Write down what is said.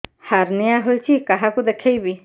hernia ହୋଇଛି କାହାକୁ ଦେଖେଇବି